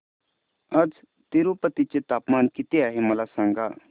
आज तिरूपती चे तापमान किती आहे मला सांगा